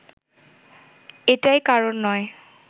এটাই কারণ নয়